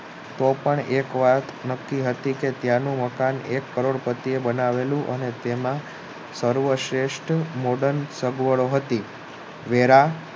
તોપણ એક વાર નક્કી હતું કે ત્યાંનું મકાન એક કરોડ પતિએ બનાવેલુ અને તેમાં સર્વશ્રેષ્ઠ modern સગવડો હતી